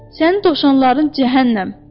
Sənin dovşanların cəhənnəm.